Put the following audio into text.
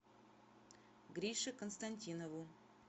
грише константинову